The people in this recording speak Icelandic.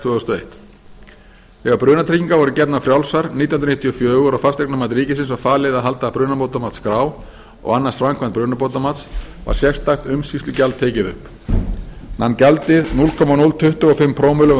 þúsund og eitt þegar brunatryggingar voru gefnar frjálsar nítján hundruð níutíu og fjögur og fasteignamati ríkisins var falið að halda brunabótamatsskrá og annast framkvæmd brunabótamats var sérstakt umsýslugjald tekið upp nam gjaldið núll komma núll tuttugu og fimm prómill af